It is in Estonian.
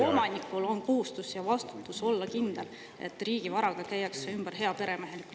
… omanikul on kohustus ja vastutus olla kindel, et riigi varaga käiakse ümber heaperemehelikult …